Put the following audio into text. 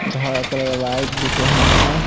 घर का colour white दिख रहा है।